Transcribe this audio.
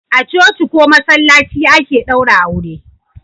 A coci ko masallaci ake daura aure